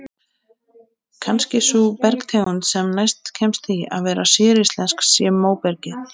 Kannski sú bergtegund sem næst kemst því að vera séríslensk sé móbergið.